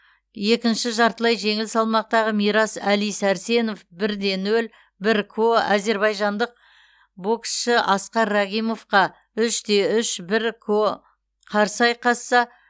екінші жартылай жеңіл салмақтағы мирас әли сәрсенов бір де нөл бір ко әзербайжандық боксшы аскар рагимовқа үш те үш бір ко қарсы айқасса